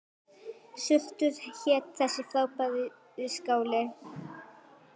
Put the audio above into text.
Surtur hét þessi frábæri skáli.